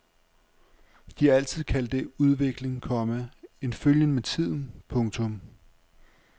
De har altid kaldt det udvikling, komma en følgen med tiden. punktum